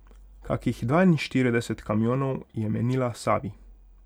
Kakih dvainštirideset kamionov, je menila Savi.